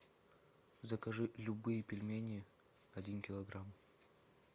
закажи любые пельмени один килограмм